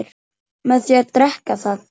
með því að drekka það